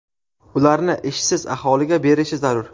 ularni ishsiz aholiga berishi zarur.